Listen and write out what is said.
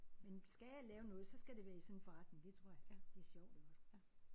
Men skal jeg lave noget så skal det være i sådan en forretning det tror jeg. Det er sjovt iggås